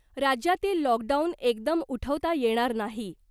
राज्यातील लॉकडाउन एकदम उठवता येणार नाही .